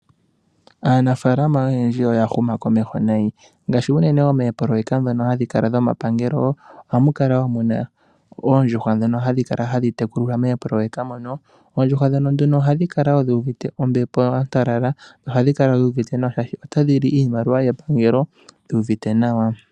Aanafalama oyendji oya huma komeho nayi, ngaashi unene moopoloyeka dhono hadhi kala dhomapangelo ohamu kala wo muna oondjuhwa ndhono hadhi kala hadhi tekulilwa moopololeka mono. Oondjuhwa ndhono nduno ohadhi kala wo dhi uvite ombepo ya talala nohadhi kala dhi uvite nawa shaashi otadhi li iimaliwa yepangelo dhi uvite nawa.